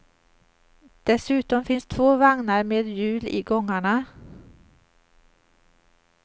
Dessutom finns två vagnar med hjul i gångarna.